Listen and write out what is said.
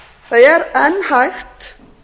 það er enn hægt